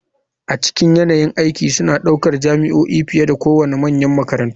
A cikin yanayin aiki suna ɗaukar jami'o'i fiye da kowane manyan makarantu.